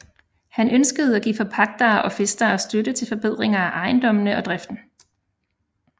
Han ønskede at give forpagtere og fæstere støtte til forbedringer af ejendommene og driften